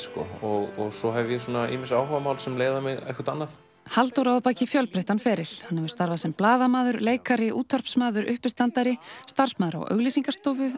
og svo hef ég ýmis áhugamál sem leiða mig einhvert annað Halldór á að baki fjölbreyttan feril hann hefur starfað sem blaðamaður leikari útvarpsmaður uppistandari starfsmaður á auglýsingastofu